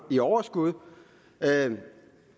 i overskud